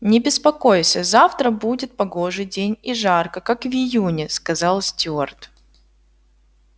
не беспокойся завтра будет погожий день и жарко как в июне сказал стюарт